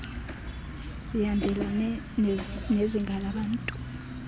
zihambelane nezinga labantu